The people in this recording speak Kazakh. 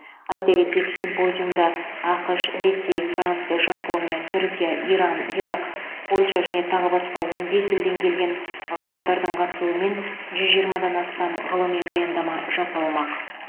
айта кетейік симпозиумда ақш ресей франция жапония түркия иран ирак польша және тағы басқа он бес елден келген ғалымдардың қатысуымен жүз жиырмадан астам ғылыми баяндама жасалмақ